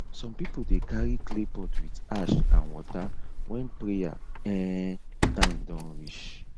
some people dey carry clay pot with ash and water when prayer um time don reach